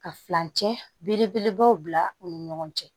Ka furancɛ belebelebaw bila u ni ɲɔgɔn cɛ